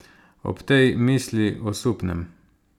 Ob tej misli osupnem.